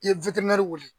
I ye wuli